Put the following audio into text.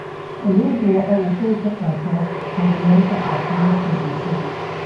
Kalluunku waxa uu qayb ka qaataa horumarinta caafimaadka bulshada.